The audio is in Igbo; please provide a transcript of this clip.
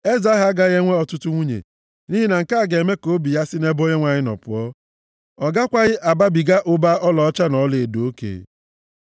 Eze ahụ agaghị enwe ọtụtụ nwunye, nʼihi na nke a ga-eme ka obi ya si nʼebe Onyenwe anyị nọ pụọ. Ọ gakwaghị ababiga ụba ọlaọcha na ọlaedo oke.